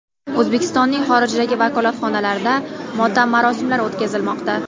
O‘zbekistonning xorijdagi vakolatxonalarida motam marosimlari o‘tkazilmoqda.